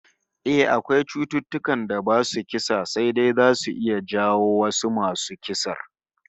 Eh, akwai cututtukan da basu kisa sai dai zasu iya jawo wasu masu kisar